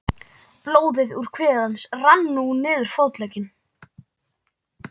Blóðið úr kviði hans rann nú niður fótlegginn.